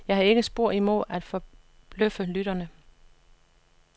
Jeg har ikke spor imod at forbløffe lytterne.